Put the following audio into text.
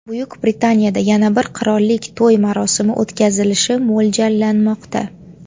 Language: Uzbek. Buyuk Britaniyada yana bir qirollik to‘y marosimi o‘tkazilishi mo‘ljallanmoqda.